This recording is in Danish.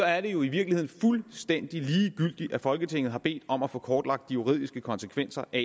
er det jo i virkeligheden fuldstændig ligegyldigt at folketinget har bedt om at få kortlagt de juridiske konsekvenser af